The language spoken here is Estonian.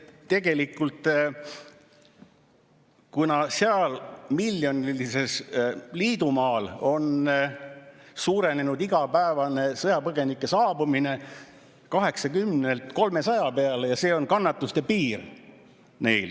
Et tegelikult seal, miljonilisel liidumaal, on suurenenud igapäevane sõjapõgenike saabumine 80-lt 300 peale ja see on kannatuste piir neil.